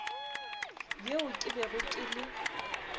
yeo ke bego ke le